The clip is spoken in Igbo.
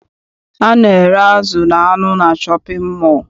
A na-ere azụ na anụ na shọpịn mọọ.